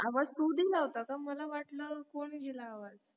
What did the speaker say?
आवाज तू दिला होतास का मी म्हंटलं कोण दिला आवाज